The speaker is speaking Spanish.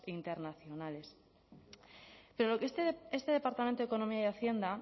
internacionales pero lo que este departamento de economía y hacienda